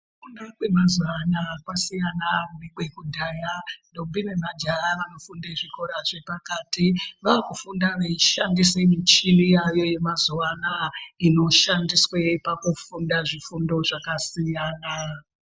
Kufunda kwemazuwa anaya kwasiyana nekwekudhaya , ntombi nemajaha vanofunde zvikora zvepakati, vaakufunda veishandise michini yaayo yemazuwa anaya inoshandiswe pakufunda zvifundo zvakasiyana.